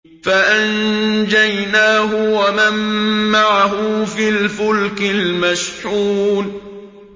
فَأَنجَيْنَاهُ وَمَن مَّعَهُ فِي الْفُلْكِ الْمَشْحُونِ